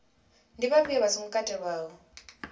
ndi vhafhio vha songo katelwaho